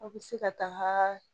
Aw bɛ se ka taga